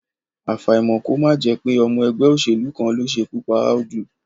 Àfàìmọ̀ kí ó má jẹ́ pé ọmọ ẹgbẹ́ òṣèlú kan ló ṣekú pa Audu